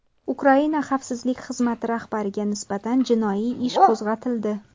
Ukraina Xavfsizlik xizmati rahbariga nisbatan jinoiy ish qo‘zg‘atildi.